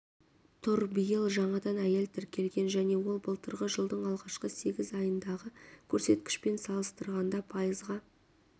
тұр биыл жаңадан әйел тіркелген және ол былтырғы жылдың алғашқы сегіз айындағы көрсеткішпен салыстырғанда пайызға